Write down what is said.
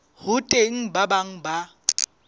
ho teng ba bang ba